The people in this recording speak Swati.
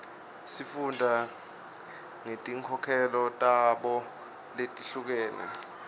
sifunda ngetinkolelo tabo letihlukene